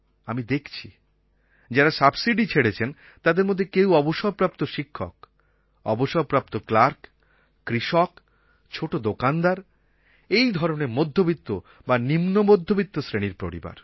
আমি দেখছি যারা সাবসিডি ছেড়েছেন তাদের মধ্যে কেউ অবসরপ্রাপ্ত শিক্ষক অবসরপ্রাপ্ত ক্লার্ক কৃষক ছোটো দোকানদার এই ধরনের মধ্যবিত্ত বা নিম্নমধ্যবিত্ত শ্রেণির পরিবার